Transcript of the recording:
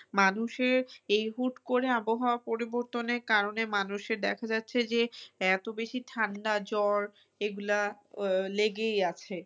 মানুষের এই হুট করে আবহাওয়া পরিবর্তনের কারনে মানুষের দেখা যাচ্ছে যে এত বেশি ঠান্ডা জ্বর এগুলা আহ লেগেই আছে।